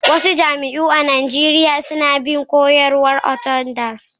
wasu majami'u a Najeriya suna bin koyarwar Orthodox